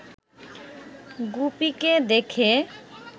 গুপিকে দেখে